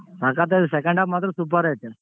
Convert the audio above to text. ಸಖತಾಯಿದೆ second half ಮಾತ್ರ super ಐತೆ.